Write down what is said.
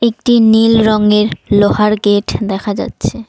একটি নীল রংয়ের লোহার গেট দেখা যাচ্ছে।